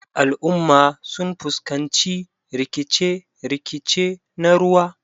Al'umma sun fuskanci rikice-rikice na ruwa.